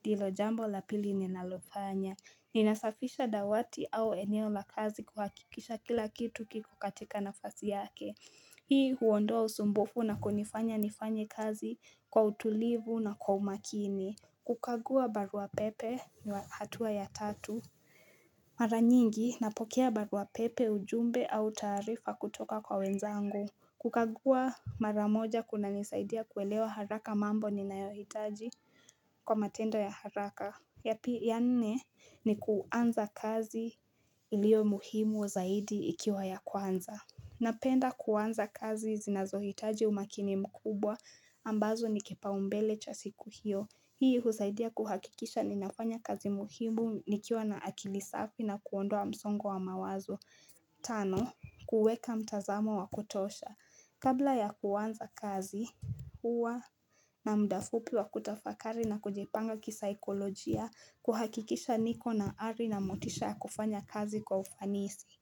ndio jambo la pili ninalofanya Ninasafisha dawati au eneo la kazi kuhakikisha kila kitu kikokatika nafasi yake Hii huondoa usumbufu na kunifanya nifanye kazi kwa utulivu na kwa umakini kukagua baruapepe ni hatua ya tatu Maranyingi napokea baruapepe ujumbe au tarifa kutoka kwa wenzangu kukagua maramoja kuna nisaidia kuelewa haraka mambo ni nayohitaji kwa matendo ya haraka ya nene ni kuanza kazi ilio muhimu zaidi ikiwa ya kuanza. Napenda kuanza kazi zinazohitaji umakini mkubwa ambazo nikipa umbele cha siku hiyo. Hii husaidia kuhakikisha ninafanya kazi muhimu nikiwa na akilisafi na kuondoa msongo wa mawazo. Tano, kuweka mtazamo wa kutosha. Kabla ya kuwanza kazi huwa na mdafupi wa kutafakari na kujipanga kisaikolojia kuhakikisha niko na ari na motisha kufanya kazi kwa ufanisi.